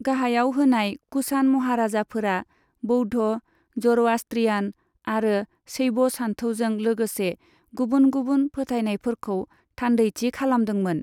गाहायाव होनाय कुषाण महाराजाफोरा बौद्ध, ज'र'आष्ट्रियान, आरो शैव सानथौजों लोगोसे गुबुन गुबुन फोथायनायफोरखौ थान्दैथि खालामदोंमोन।